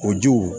O jiw